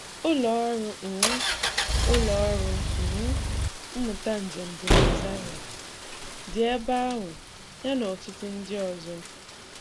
um Ụlọ ọrụ um Ụlọ ọrụ um mmụta njem dị na Zaria, dị ebe ahụ, yana ọtụtụ ndị ọzọ.